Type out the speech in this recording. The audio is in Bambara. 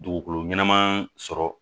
Dugukolo ɲɛnama sɔrɔ